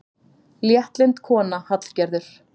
Léttlynd kona, Hallgerður.